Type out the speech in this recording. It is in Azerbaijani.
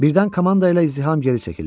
Birdən komanda ilə izdiham geri çəkildi.